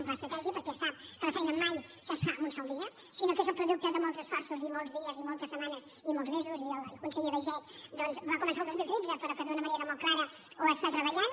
un pla estratègic perquè sap que la feina mai es fa en un sol dia sinó que és el producte de molts esforços i molts dies i moltes setmanes i molts mesos i el conseller baiget doncs va començar el dos mil tretze però d’una manera molt clara ho està treballant